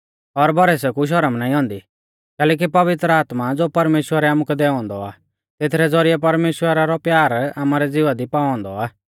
और भरोसै कु शौरम नाईं औन्दी कैलैकि पवित्र आत्मा ज़ो परमेश्‍वरै आमुकै दैऔ औन्दौ आ तेथरै ज़ौरिऐ परमेश्‍वरा रौ प्यार आमारै ज़िवा दी पाऔ औन्दौ आ